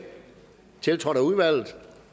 tiltrådt af udvalget